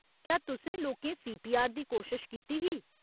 क्या तुसें लोकें सीपीआर दी कोशश कीती ही?